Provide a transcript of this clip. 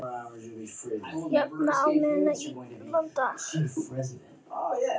Jagast í manni alla daga.